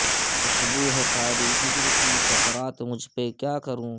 خوشبو ہے طاری ہجر کی سکرات مجھ پہ کیا کروں